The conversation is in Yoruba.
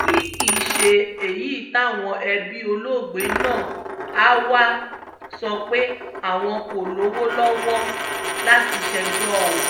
èyí kì í ṣe èyí táwọn ẹbí olóògbé náà á wáá sọ pé àwọn kò lówó lọ́wọ́ láti ṣèjọ o